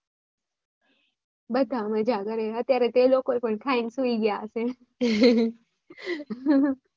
બધા મજ્જા કરે અત્યારે તો એ લોકો પણ ખાઈ ને સુઈ ગયા હશે.